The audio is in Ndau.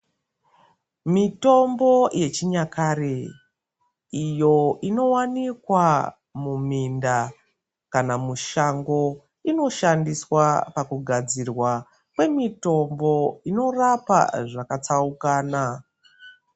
Mitombo yechinyakare iyo inowanikwa muminda kana mushango inoshandiswa pakugadzirwa kwemitombo inorapa zvakatsaukana.